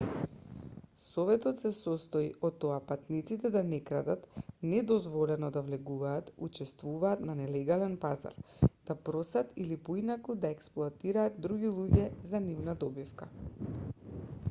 советот се состои од тоа патниците да не крадат недозволено да влегуваат учествуваат на нелегален пазар да просат или поинаку да експлоатираат други луѓе за нивна добивка